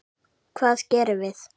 Hvað gerðum við?